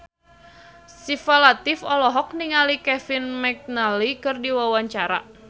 Syifa Latief olohok ningali Kevin McNally keur diwawancara